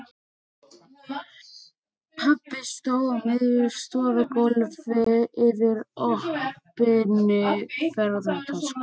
Pabbi stóð á miðju stofugólfi yfir opinni ferðatösku.